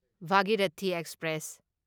Bhagirathi express